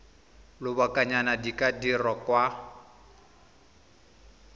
lobakanyana di ka dirwa kwa